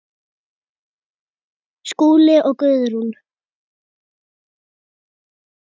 Skúli og Guðrún.